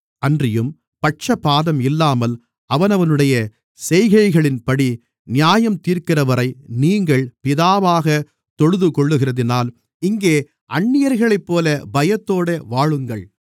அன்றியும் பட்சபாதம் இல்லாமல் அவனவனுடைய செய்கைகளின்படி நியாயந்தீர்க்கிறவரை நீங்கள் பிதாவாகத் தொழுதுகொள்ளுகிறதினால் இங்கே அந்நியர்களைப்போல பயத்தோடு வாழுங்கள்